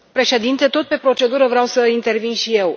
Domnule președinte, tot pe procedură vreau să intervin și eu.